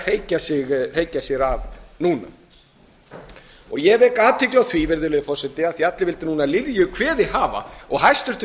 er að hreykja sér af núna ég vek athygli á því virðulegi forseti af því að allir vildu lilju kveðið hafa og hæstvirtur